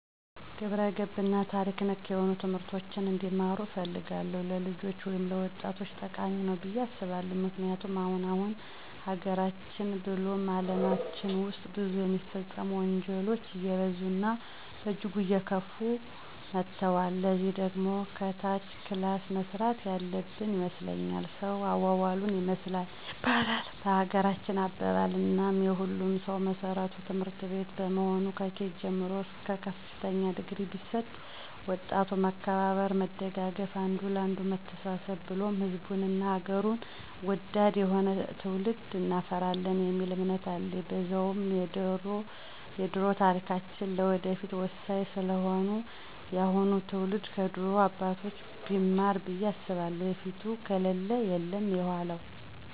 ግብረገብ እና ታሪክ ነክ ነሆኑ ትምህርቶችን እንዲማሩ እፈልጋለሁ። ለልጆች ወይም ለወጣቶቸ ጠቃሚ ነዉ ብየ አስባለሁ። ምክንያቱም አሁን አሁን ሀገራችን ብሉም አለማችን ዉስጥ ብዙ የሚፈጸሙ ወንጀሎች አየበዙ እና በእጅጉ አየከፉ መተወል። ለዚህ ደግሞ ከታች ክላስ መሰራት ያለበን ይመስለኛል። ሰዉ አዋዋሉን ይመስላል ይባላል በሀገራችን አባባል፦ እናም የሁሉም ሰዉ መሰረቱ ትምህርትቤት በመሆኑ ከኬጅ ጀምሮ እስከ ከፍተኛ ድግሪ ቢሰጥ ወጣቱ መከባበር፣ መደጋገፍ፣ አንዱ ለአንዱ መተሳሰብን ብሉም ሕዝቡን እና ሐገሩን ወዳድ የሆነ ትዉልድ እናፈራለን የሚል እምነት አለኝ። በዛዉም የደሮ ታሪካችን ለወደፊቱ ወሳኝ ስለሆነ የአሁኑ ትዉልድ ከድሮ አባቶቻችን ቢማር ብየ አስባለሁ የፊቱ ከሌለ የለም የዃላዉ።